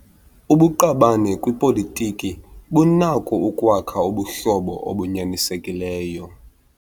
Ubuqabane kwipolitiki bunako ukwakha ubuhlobo obunyanisekileyo.